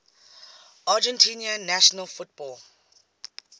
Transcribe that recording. argentina national football